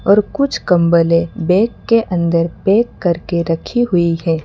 और कुछ कंबले बैग के अंदर पैक कर के रखी हुई है।